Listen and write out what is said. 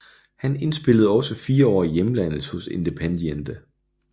Han spillede også fire år i hjemlandet hos Independiente